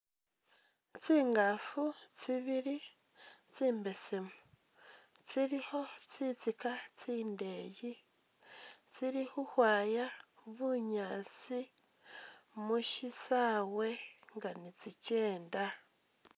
Tsingafu tsibili tsi mbesemu tsilikho tsitsika tsindeyi, tsili khukhwaya bunyaasi mushi saawe nga ni tsi kyenda.